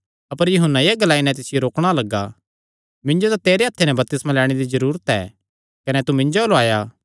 अपर यूहन्ना एह़ ग्लाई नैं तिसियो रोकणा लग्गा मिन्जो तां तेरे हत्थे ते बपतिस्मा लैणे दी जरूरत ऐ कने तू मिन्जो अल्ल आया